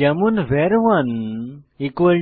যেমন ভার 1 10